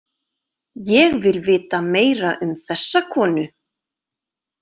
Ég vil vita meira um þessa konu.